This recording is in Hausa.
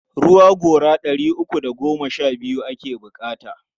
Ruwa gora ɗari uku da goma sha biyu ake buƙata.